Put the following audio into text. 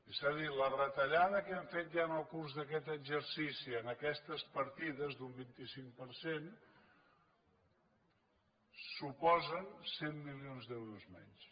és a dir la retallada que hem fet ja en el curs d’aquest exercici en aquestes partides d’un vint cinc per cent suposa cent milions d’euros menys